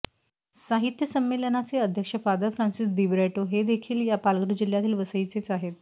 साहित्य संमेलनाचे अध्यक्ष फादर फ्रान्सिस दिब्रेटो हे देखील या पालघर जिल्ह्यातील वसईचेच आहेत